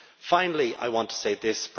Finally, I want to say this.